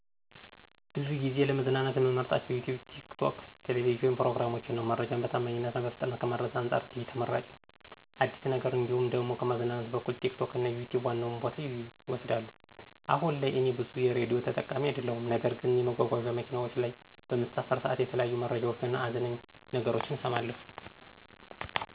ብዙ ጊዜ ለመዝናናት ምመርጣቸው ዩትዩብ፣ ቲክቶክ የቴሌብጂን ፕሮግራሞችን ነው። መረጃን በታማኝነት እና በፍጥነት ከማድረስ አንፃር ቲቪ ተመራጭ ነው። አዲስን ነገር እንዲሁም ደሞ ከማዝናናት በኩል ቲክቶክ እና ዩትዩብ ዋናውን ቦታ ይወስዳሉ። አሁን ላይ እኔ ብዙም የሬዲዮ ተጠቃሚ አደለሁም ነገር ግን የመጓጓዚያ መኪናዎች ላይ በምሳፈር ሠዓት የተለያዩ መረጃዎች እና አዝናኝ ነገሮችን እሠማለሁ።